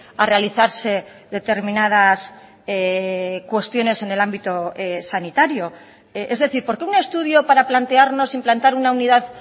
a realizarse determinadas cuestiones en el ámbito sanitario es decir por qué un estudio para plantearnos implantar una unidad